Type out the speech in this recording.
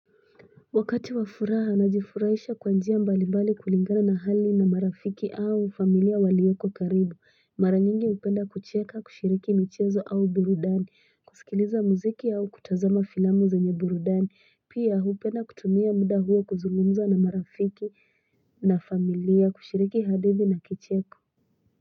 Wakati wa furaha najifurahisha kwa njia mbalimbali kulingana na hali na marafiki au familia walioko karibu mara nyingi upenda kucheka kushiriki michezo au burudani kusikiliza muziki au kutazama filamu zenye burudani pia upenda kutumia muda huo kuzungumza na marafiki na familia kushiriki hadithi na kicheko.